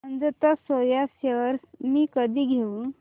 Ajanta soya shares मी कधी घेऊ